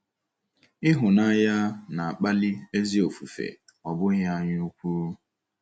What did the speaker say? Ịhụnanya, na-akpali ezi ofufe, ọ bụghị anyaukwu.